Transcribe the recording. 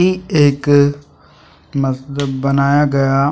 ये एक मस्त बनाया गया।